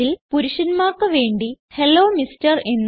അതിൽ പുരുഷൻമാർക്ക് വേണ്ടി ഹെല്ലോ എംആർ